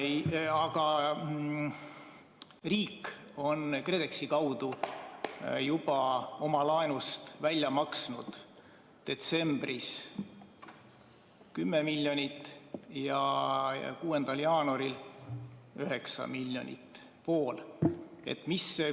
Aga riik on KredExi kaudu juba oma laenust välja maksnud detsembris 10 miljonit ja 6. jaanuaril 9 miljonit ehk siis poole.